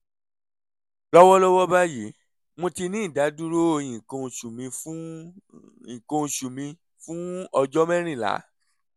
lọ́wọ́lọ́wọ́ báyìí mo ti ní ìdádúró nǹkan oṣù mi fún oṣù mi fún ọjọ́ mẹ́rìnlá